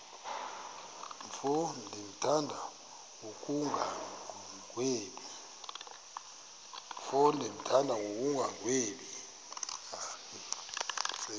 mfo ndimthanda ngokungagwebi